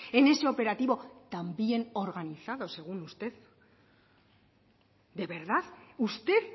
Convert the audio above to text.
en ese operativo tan bien organizado según usted de verdad usted